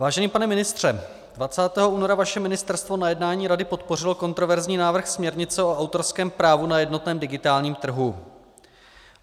Vážený pane ministře, 20. února vaše ministerstvo na jednání Rady podpořilo kontroverzní návrh směrnice o autorském právu na jednotném digitálním trhu.